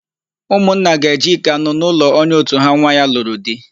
Ụmụnna ga-eje íkè anụ n'ụlọ onye òtù ha nwa ya lụrụ di.